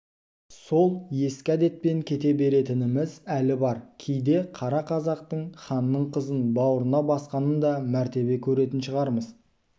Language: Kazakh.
сол ескі әдетпен кете беретініміз әлі бар кейде қара қазақтың ханның қызын бауырына басқанын да мәртебе көретін шығармыз